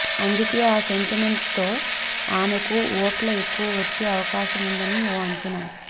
అందుకే ఆ సెంటిమెంట్ తో ఆమెకు ఓట్లు ఎక్కువ వచ్చే అవకాశం ఉందని ఓ అంచనా